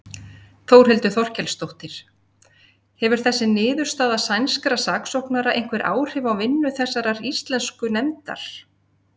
Þórhildur Þorkelsdóttir: Hefur þessi niðurstaða sænskra saksóknara einhver áhrif á vinnu þessarar íslensku nefndar?